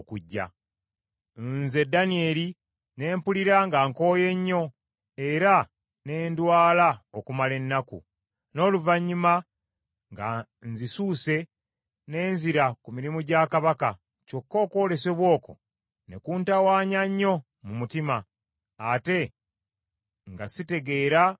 Nze Danyeri ne mpulira nga nkooye nnyo era ne ndwala okumala ennaku. N’oluvannyuma nga nzisuuse ne nzira ku mirimu gya kabaka, kyokka okwolesebwa okwo ne kuntawanya nnyo mu mutima, ate nga sitegeera makulu gaakwo.